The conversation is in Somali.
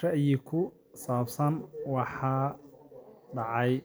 ra'yi ku saabsan waxa dhacaya.